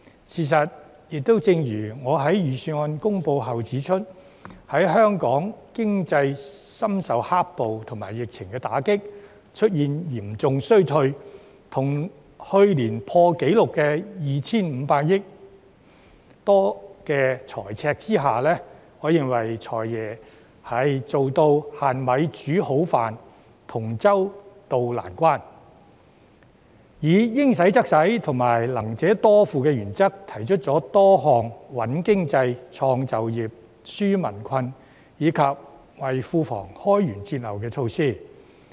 事實上，正如我在預算案公布後指出，在香港經濟深受"黑暴"和疫情打擊出現嚴重衰退，以及在去年破紀錄的 2,500 多億元財赤的情況下，我認為"財爺"做到"限米煮好飯"，同舟渡難關，並按照"應使則使"及"能者多付"的原則，提出了多項"穩經濟、創就業、紓民困"及為庫房開源節流的措施。